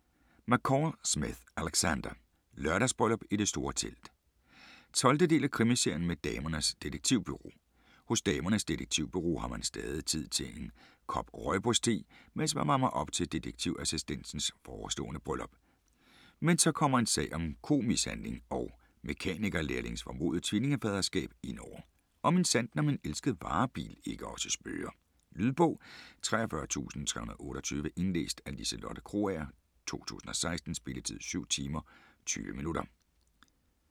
McCall Smith, Alexander: Lørdagsbryllup i det store telt 12. del af Krimiserien med Damernes Detektivbureau. Hos Damernes Detektivbureau har man stadig tid til en kop Roiboos-te, mens man varmer op til detektivassistentens forestående bryllup. Men så kommer en sag om komishandling og mekanikerlærlingens formodede tvillingefaderskab indover, og minsandten om en elsket varebil ikke også spøger. Lydbog 43328 Indlæst af Liselotte Krogager, 2016. Spilletid: 7 timer, 20 minutter.